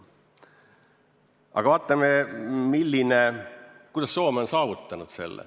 Aga vaatame, kuidas Soome on selle saavutanud.